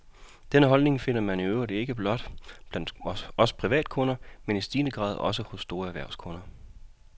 Denne holdning finder man i øvrigt ikke blot blandt os privatkunder, men i stigende grad også hos store erhvervskunder.